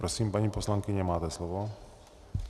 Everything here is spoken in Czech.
Prosím, paní poslankyně, máte slovo.